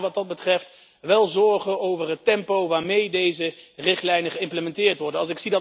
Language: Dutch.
Ik maak me wat dat betreft wel zorgen over het tempo waarmee deze richtlijnen geïmplementeerd worden.